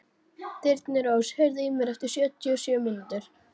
Þyrnirós, heyrðu í mér eftir sjötíu og sjö mínútur.